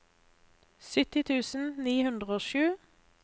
sytti tusen ni hundre og sju